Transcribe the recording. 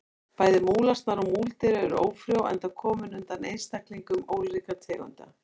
Bæði múlasnar og múldýr eru ófrjó enda komin undan einstaklingum ólíkra tegunda.